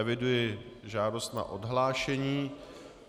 Eviduji žádost na odhlášení.